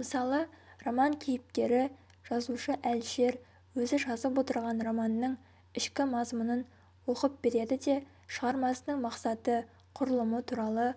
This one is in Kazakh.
мысалы роман кейіпкері жазушы-әлішер өзі жазып отырған романның ішкі мазмұнын оқып береді де шығармасының мақсаты құрылымы туралы